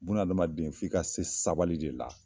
Bunadamaden f' i ka se sabali de la